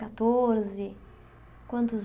Catorze quantos